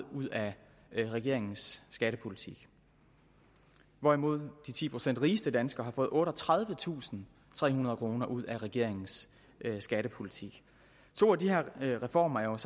ud af regeringens skattepolitik hvorimod de ti procent rigeste danskere har fået otteogtredivetusinde og trehundrede kroner ud af regeringens skattepolitik to af reformerne